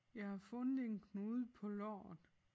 Jeg har fundet en knude på låret